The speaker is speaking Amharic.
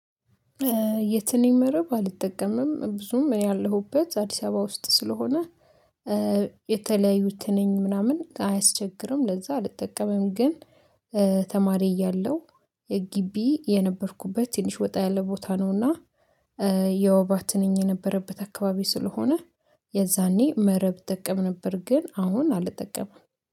የትንኝ መረብ አልጠቀምም ብዙም ያለሁበት አዲስ አበባ ውስጥ ስለሆነ የተለያዩ ትንኝ ምናምን አያስቸግርም ለዛ አልጠቀምም። ግን ተማሪ እያለሁ የጊቢ የነበርኩበት ትንሽ ወጣ ያለ ቦታ ነውና። የወባ ትንኝ የነበረበት አካባቢ ስለሆነ የዛኔ መረብ እጠቀም ነበር። ግን አሁን አልጠቀምም